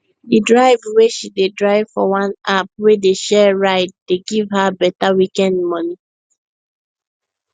the drive wey she dey drive for one app wey dey share ride dey give her better weekend money